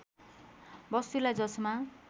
वस्तुलाई जसमा